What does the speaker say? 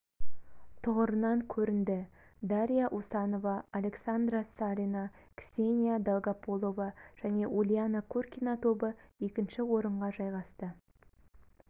тұғырынан көрінді дарья усанова александра салина ксения долгополова және ульяна куркина тобы екінші орынға жайғасты